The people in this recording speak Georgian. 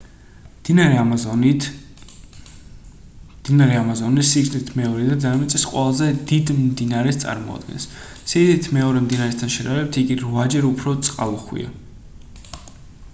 მდინარე ამაზონი სიგრძით მეორე და დედამიწის ყველაზე დიდ მდინარეს წარმოადგენს სიდიდით მეორე მდინარესთან შედარებით იგი 8-ჯერ უფრო წყალუხვია